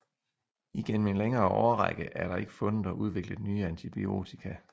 Igennem en længere årrække er der ikke fundet og udviklet nye antibiotika